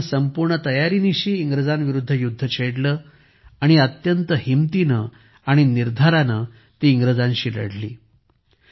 राणीने संपूर्ण तयारीनिशी इंग्रजांविरुद्ध युध्द छेडले आणि अत्यंत हिंमतीने आणि निर्धाराने ती इंग्रजांशी लढली